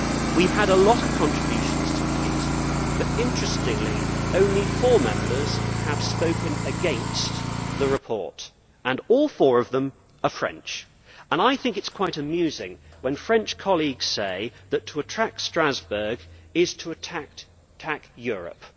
We have had a lot of contributions tonight, but interestingly, only four Members have spoken against the report and all four of them are French! I think it is quite amusing when French colleagues say that to attack Strasbourg is to attack Europe.